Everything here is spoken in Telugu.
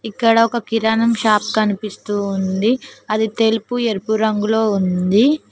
ఇక్కడ ఒక కిరాణం షాప్ కనిపిస్తూ ఉంది అది తెలుపు ఎరుపు రంగులో ఉంది.